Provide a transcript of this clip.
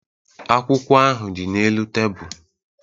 Akwụkwọ ahụ dị n'elu tebụl